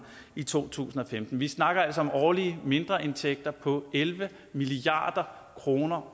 i to tusind og femten vi snakker altså om årlige mindreindtægter på elleve milliard kroner